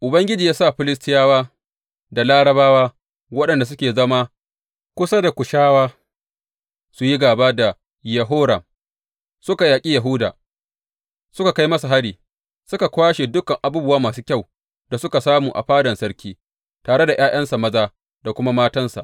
Ubangiji ya sa Filistiyawa da Larabawa waɗanda suke zama kusa da Kushawa su yi gāba da Yehoram Suka yaƙi Yahuda, suka kai masa hari, suka kwashe dukan abubuwa masu kyau da suka samu a fadan sarki, tare da ’ya’yansa maza da kuma matansa.